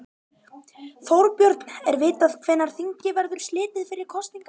Þorbjörn, er vitað hvenær þingi verður slitið fyrir kosningar?